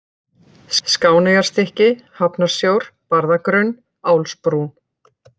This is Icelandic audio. Skáneyjarstykki, Hafnarsjór, Barðagrunn, Álsbrún